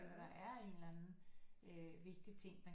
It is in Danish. Eller der er en eller anden øh vigtig ting man